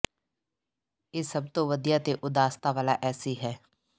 ਇਹ ਸਭ ਤੋਂ ਵਧੀਆ ਤੇ ਉਦਾਸਤਾ ਵਾਲਾ ਐਸੀ ਹੈ